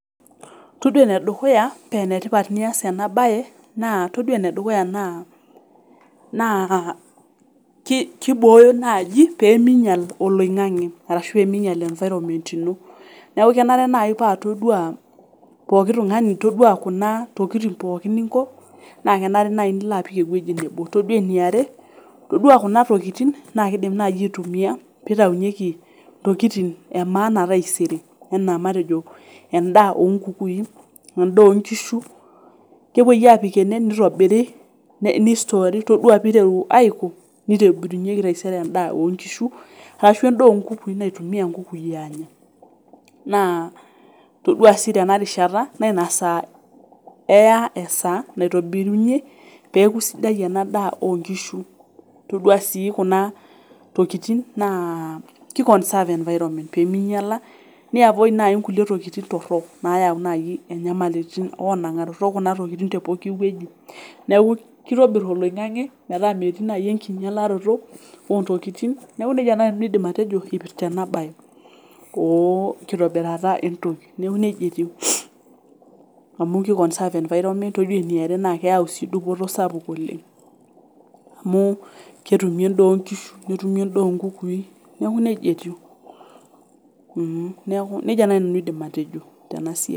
Todua enedukuya penetipat nias ena baye naa todua enedukuya naa naa ki kibooyo naaji peminyial oloing'ang'e arashu eminyial environment ino neku kenare naai paa todua pooki tung'ani todua kuna tokiting pookin ninko naa kenare naai nilo apik ewueji nebo todua eniare todua kuna tokiting naa kidim naaji aitumia pitaunyieki ntokitin e maana e taisere enaa matejo endaa onkukui endaa onkishu kepuoi apik ene nitobiri ne nistori todua piteru aiko nitobirunyieki taisere endaa onkishu arashu endaa onkukui naitumia inkukui aanya naa todua sii tenarishata naina saa eya esaa naitobirunyie peeku sidai ena daa onkishu todua sii kuna tokitin naa ki conserve environment peminyiala ni avoi naai inkulie tokiting torrok nayau naai inyamalitin onang'arot okuna tokitin te poki wueji neeku kitobirr oloing'ang'e metaa metii naai enkinyialaroto ontokitin neeku nejia naai nanu aidim atejo ipirta ena baye onkitobirata entoki neku nejia etiu amu ki conserve environment todua eniare naa keyau sii dupoto sapuk oleng amu ketumi endaa onkishu nitumie endaa onkukui neeku nejia etiu mh niaku nejia naai nanu aidim atejo tena siai.